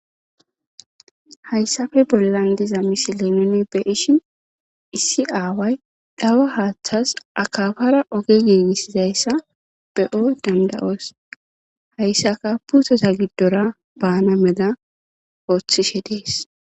Haysappe bollan diza misile nuni beyishn issi aaway dhawa haathasi akapara oge giigisizaysa be'o danda'os, haysanka puuteta gidora baana mala oothishe Desi.